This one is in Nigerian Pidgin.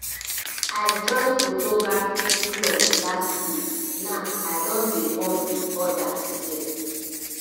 i join um photography club last week now i don dey bond um wit odas there